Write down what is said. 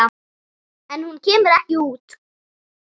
En hún kemur ekki út.